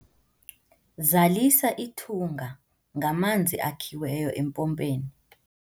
zalisa ithunga ngamanzi akhiwe empompeni